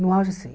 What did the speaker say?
No auge, sim.